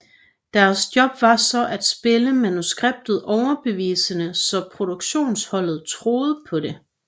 Deres job var så at spille manuskriptet overbevisende så produktionsholdet troede på det